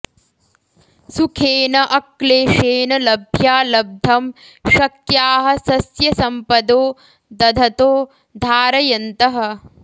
सुखेन अक्लेशेन लभ्या लब्धं शक्याः सस्यसम्पदो दधतो धारयन्तः